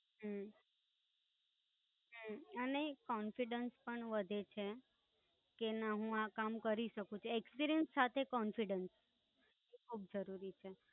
હમ હમ અને એક confidence પણ વધે છે કે ના હું આ કામ કરી શકું છું. experience સાથે confidence બવ જ જરૂરી છે.